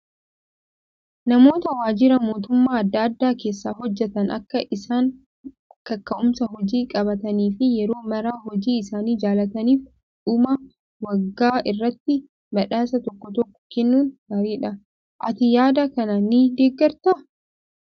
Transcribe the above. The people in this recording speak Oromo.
Namoota waajjira mootummaa adda addaa keessa hojjatan Akka isaan kaka'umsa hojii qabaatanii fi yeroo maraa hojii isaanii jaallataniif dhuma waggaa irratti badhaasa tokko tokko kennuun gaariidha. Ati yaada kana ni deeggartaa?